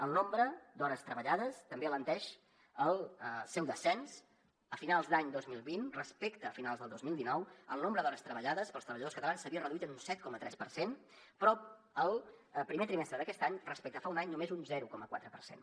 el nombre d’hores treballades també alenteix el seu descens a finals de l’any dos mil vint respecte a finals del dos mil dinou el nombre d’hores treballades pels treballadors catalans s’havia reduït en un set coma tres per cent però el primer trimestre d’aquest any respecte a fa un any només un zero coma quatre per cent